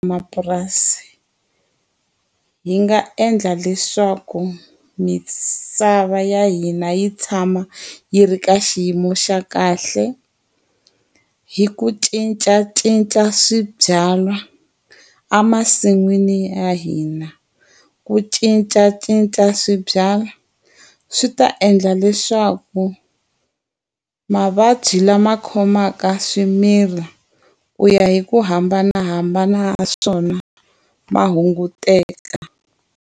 Mapurasi, hi nga endla leswaku misava ya hina yi tshama yi ri ka xiyimo xa kahle, hi ku cincacinca swi byalwa emasin'wini ya hina. Ku cincacinca swibyariwa swi ta endla leswaku, mavabyi lama khomaka swimila ku ya hi ku hambanahambana ka swona ma hunguteka.